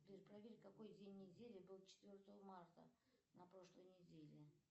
сбер проверь какой день недели был четвертого марта на прошлой неделе